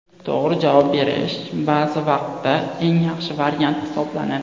To‘g‘ri javob berish ba’zi vaqtda eng yaxshi variant hisoblanadi.